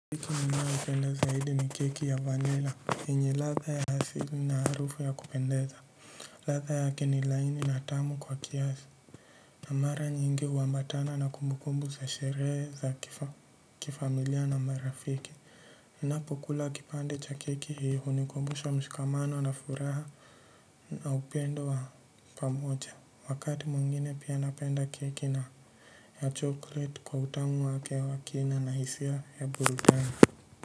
Iki mina ukele zaidi ni keki ya vanila, inye latha ya hasili na harufu ya kupendeza, latha ya kenilaini na tamu kwa kiazi. Na mara nyingi huambatana na kumbukumbu za sherehe za kifamilia na marafiki. Ninapokula kipande cha keki hii hunikumbusha mshikamano na furaha na upendo wa pamoja. Wakati mwingine pia napenda keki na ya chokoleti kwa utamu wake wa kina na hisia ya burudani.